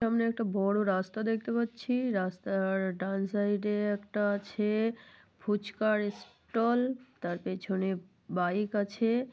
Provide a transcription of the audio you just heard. সামনে একটা বড় রাস্তা দেখতে পাচ্ছি রাস্তা-আর ডান সাইড -এ একটা আছে ফুচকার স্টল । তার পেছনে বাইক আছে।